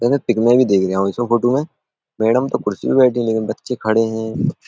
Photo में madam तो कुर्सी पे बैठी हैं लेकिन बच्चे खड़े हैं।